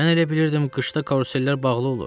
Mən elə bilirdim qışda karusellər bağlı olur.